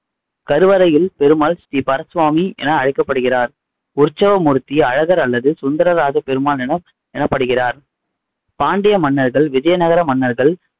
கருவறையில் பெருமாள் ஸ்ரீபரசுவாமி என அழைக்கப்படுகிறார் உற்சவ மூர்த்தி அழகர், அல்லது சுந்தரராஜ பெருமாள் என எனப்படுகிறார் பாண்டிய மன்னர்கள், விஜயநகர மன்னர்கள்,